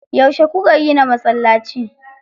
Yauce kuka gina masallaci?